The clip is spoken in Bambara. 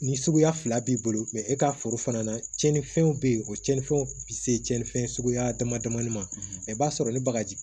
Ni suguya fila b'i bolo e ka foro fana na tiɲɛnifɛnw be yen o tiɲɛnifɛnw ti se tiɲɛni fɛn suguya dama damani ma i b'a sɔrɔ ni bagaji